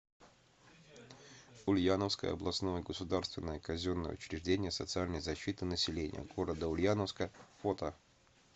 ульяновское областное государственное казенное учреждение социальной защиты населения г ульяновска фото